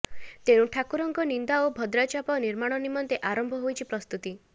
ତେଣୁ ଠାକୁରଙ୍କ ନିନ୍ଦା ଓ ଭଦ୍ରା ଚାପ ନିର୍ମାଣ ନିମନ୍ତେ ଆରମ୍ଭ ହୋଇଛି ପ୍ରସ୍ତୁତି